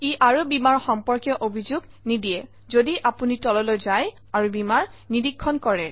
ই আৰু বীমাৰ সম্পৰ্কীয় অভিযোগ নিদিয়ে - যদি আপুনি তললৈ যায় আৰু বীমাৰ নীৰিক্ষণ কৰে